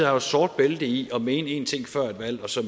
jo sort bælte i at mene én ting før et valg og så